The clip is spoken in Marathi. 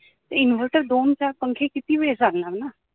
inverter दोन चार पंखे किती वेळ चालणार ना